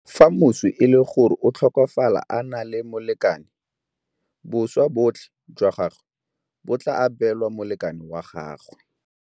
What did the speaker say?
Fa moswi e le gore o tlhokafala a na le molekane, boswa botlhe jwa gagwe bo tla abelwa molekane wa gagwe.